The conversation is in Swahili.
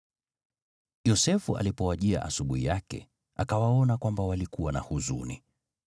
Yosefu alipowajia asubuhi yake, akawaona kwamba walikuwa na huzuni.